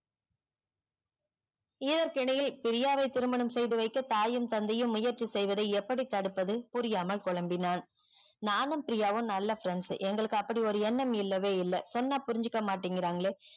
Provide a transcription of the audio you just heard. இதற்கிடையில் பிரியாவே திருமணம் செய்து வைக்க தாயும் தந்தையும் முயற்சி செய்வது எப்டி தடுப்பது புரியாமல் போலம்பினான் நானும் பிரியாவும் நல்ல friends எங்களுக்கு அப்டி ஒரு எண்ணம் இல்லவே இல்லவே இல்ல சொன்னா புரிஞ்சிக்கமாட்டிகிராங்லே